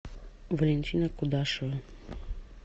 валентина кудашева